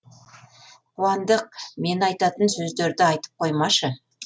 қуандық мен айтатын сөздерді айтып қоймашы